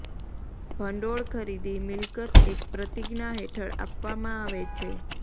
ભંડોળ ખરીદી મિલકત એક પ્રતિજ્ઞા હેઠળ આપવામાં આવે છે